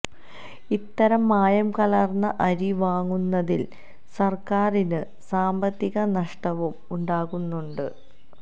ഇത്തരം മായം കലര്ന്ന അരി വാങ്ങുന്നതില് സര്ക്കാരിന് സാമ്പത്തിക നഷ്ടവും ഉണ്ടാകുന്നുണ്ട്